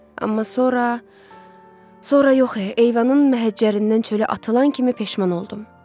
Amma sonra, sonra yox, eyvanın məhəccərindən çölə atılan kimi peşman oldum.